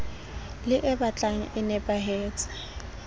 le e batlang e nepahetse